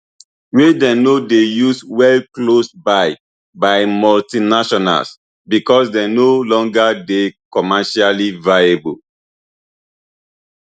wey dem no dey use well closed by by multinationals becos dem no longer dey commercially viable